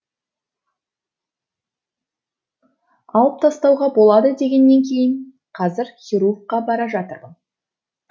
алып тастауға болады дегеннен кейін қазір хирургқа бара жатырмын